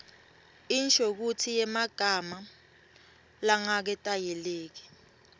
inshokutsi yemagama langaketayeleki